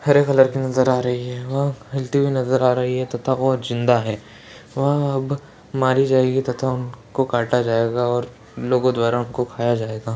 हरे colour की नज़र आ रही है ह-हिलती हुई नज़र आ रही है तथा वह ज़िंदा है वह अब मारी जाएगी तथा उनको काटा जायेगा और लोगो द्वारा उनको खाया जायेगा।